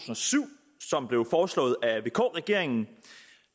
og syv som blev foreslået af vk regeringen